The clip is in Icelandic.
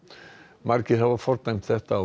margir hafa fordæmt þetta og